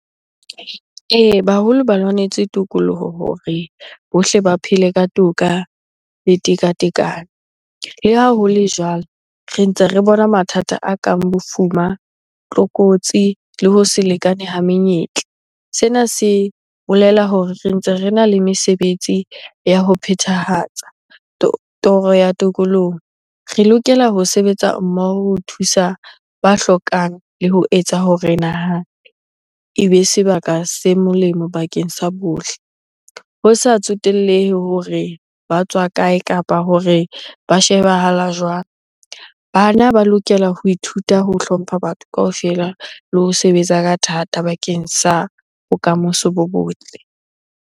Ee, baholo ba lwanetse tokoloho hore bohle ba phele ka toka le tekatekano. Le ha ho le jwalo, re ntse re bona mathata a kang bofuma, tlokotsi le ho se lekane ha menyetla. Sena se bolela hore re ntse rena le mesebetsi ya ho phethahatsa toro ya tokolohong. Re lokela ho sebetsa mmoho ho thusa ba hlokang le ho etsa ho re naha e be sebaka se molemo bakeng sa bohle. Ho sa tsotellehe hore ba tswa kae? Kapa hore ba shebahala jwang? Bana ba lokela ho ithuta ho hlompha batho kaofela le ho sebetsa ka thata bakeng sa bokamoso bo botle.